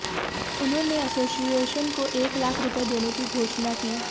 उन्होंने एसोसिएशन को एक लाख रुपए देने की घोषणा की